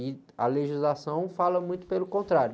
E a legislação fala muito pelo contrário.